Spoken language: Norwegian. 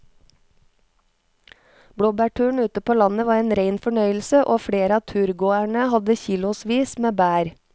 Blåbærturen ute på landet var en rein fornøyelse og flere av turgåerene hadde kilosvis med bær.